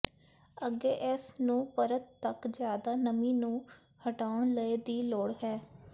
ਅੱਗੇ ਇਸ ਨੂੰ ਪਰਤ ਤੱਕ ਜ਼ਿਆਦਾ ਨਮੀ ਨੂੰ ਹਟਾਉਣ ਲਈ ਦੀ ਲੋੜ ਹੈ